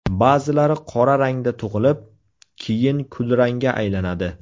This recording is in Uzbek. Ba’zilari qora rangda tug‘ilib, keyin kulrangga aylanadi.